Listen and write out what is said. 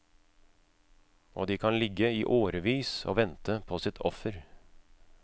Og de kan ligge i årevis og vente på sitt offer.